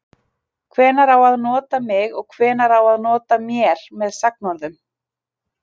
Hvenær á að nota mig og hvenær á að nota mér með sagnorðum?